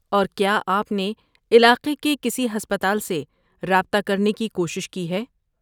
اور، کیا آپ نے علاقے کے کسی ہسپتال سے رابطہ کرنے کی کوشش کی ہے؟